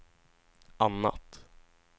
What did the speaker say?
annat